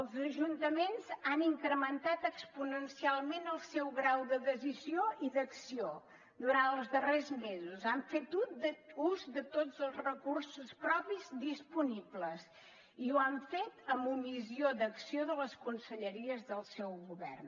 els ajuntaments han incrementat exponencialment el seu grau de decisió i d’acció durant els darrers mesos han fet ús de tots els recursos propis disponibles i ho han fet amb omissió d’acció de les conselleries del seu govern